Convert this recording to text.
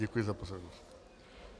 Děkuji za pozornost.